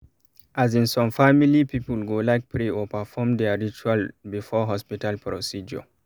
as in some family people go like pray or perfom their ritual before hospital procedure